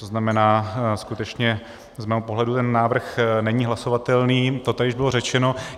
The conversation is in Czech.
To znamená, skutečně z mého pohledu ten návrh není hlasovatelný, to tady už bylo řečeno.